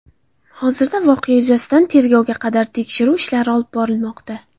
Hozirda voqea yuzasidan tergovga qadar tekshiruv ishlari olib borilmoqda.